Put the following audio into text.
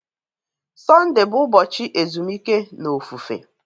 Sọnde bụ ụbọchị ezumike na ofufe.